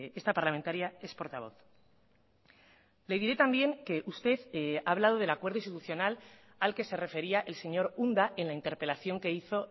esta parlamentaria es portavoz le diré también que usted ha hablado del acuerdo institucional al que se refería el señor unda en la interpelación que hizo